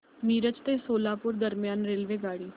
मिरज ते सोलापूर दरम्यान रेल्वेगाडी